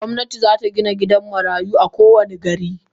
Gomnati zata Gina gidan marayu a kowani gari.